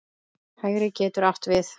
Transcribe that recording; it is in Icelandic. Hægri getur átt við